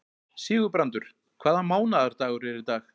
Sigurbrandur, hvaða mánaðardagur er í dag?